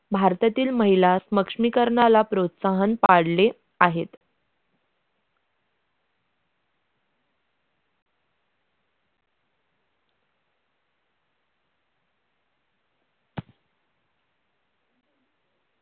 भारतातील महिला समक्षमीकरणाला प्रोत्साहन पाडले आहेत.